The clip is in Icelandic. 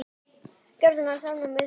Geysir gaus fyrir Svíana.